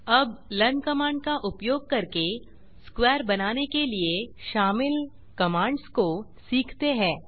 अब learn command का उपयोग करके स्क्वेयर बनाने के लिए शामिल कमांड्स को सीखते हैं